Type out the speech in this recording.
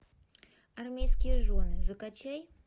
армейские жены закачай